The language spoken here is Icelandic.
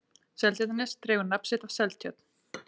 seltjarnarnes dregur nafn sitt af seltjörn